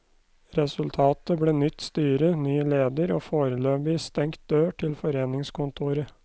Resultatet ble nytt styre, ny leder og foreløpig stengt dør til foreningskontoret.